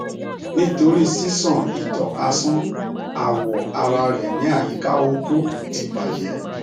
nitori sisan ito asan awọ ara rẹ ni ayika oko ti bajẹ